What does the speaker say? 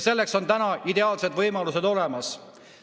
Selleks on täna ideaalsed võimalused olemas.